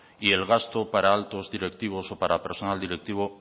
y el gasto para actos directivos o para personal directivo